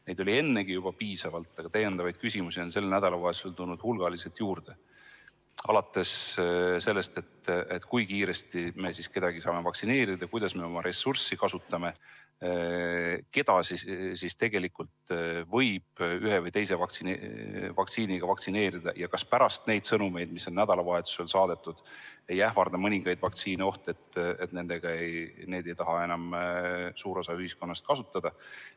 Küsimusi oli ennegi juba piisavalt, aga sel nädalavahetusel on neid tulnud veel hulgaliselt juurde, alates sellest, kui kiiresti me saame kedagi vaktsineerida ja kuidas me oma ressurssi kasutame, keda võib ühe või teise vaktsiiniga vaktsineerida ja kas pärast neid sõnumeid, mis on nädalavahetusel välja saadetud, ei ähvarda mõningaid vaktsiine oht, et suur osa ühiskonnast ei taha enam neid kasutada.